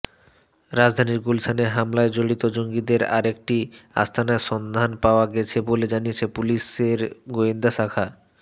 রাজধানীর গুলশানে হামলায় জড়িত জঙ্গিদের আরেকটি আস্তানার সন্ধান পাওয়া গেছে বলে জানিয়েছে পুলিশের গোয়েন্দা শাখা